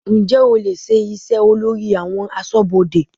Ǹjẹ́ o lè ṣe iṣẹ́ olórí àwọn aṣọ́bodè?